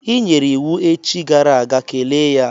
I nyere iwu echi gara aga, kelee ya!